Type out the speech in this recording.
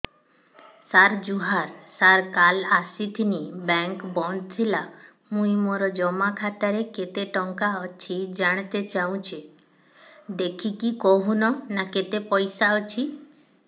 ସାର ଜୁହାର ସାର କାଲ ଆସିଥିନି ବେଙ୍କ ବନ୍ଦ ଥିଲା ମୁଇଁ ମୋର ଜମା ଖାତାରେ କେତେ ଟଙ୍କା ଅଛି ଜାଣତେ ଚାହୁଁଛେ ଦେଖିକି କହୁନ ନା କେତ ପଇସା ଅଛି